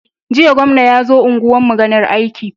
Jiya gwamna yazo unguwar mu ganin aiki